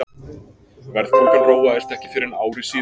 Verðbólgan róaðist ekki fyrr en ári síðar.